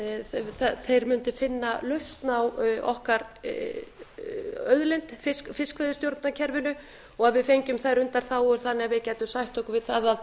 óttast neitt þeir mundu finna lausn á okkar auðlind fiskveiðistjórnarkerfinu og að við fengjum þær undanþágur þannig að við gætum sætt okkur við það að